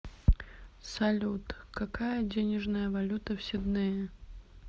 салют какая денежная валюта в сиднее